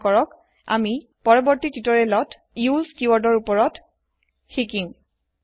লক্ষ্য কৰকঃ আমি পৰবৰ্তি তিওতৰিয়েলত উচে keywordৰ উপৰত শিকিম